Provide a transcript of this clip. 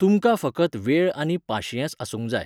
तुमकां फकत वेळआनी पाशियेंस आसुंक जाय.